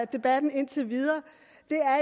debatten indtil videre